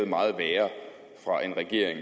meget værre fra en regering